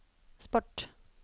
sport